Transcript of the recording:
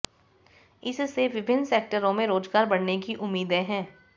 इससे विभिन्न सेक्टरों में रोजगार बढ़ने की उम्मीदें हैं